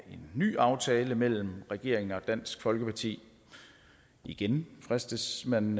ny aftale mellem regeringen og dansk folkeparti igen fristes man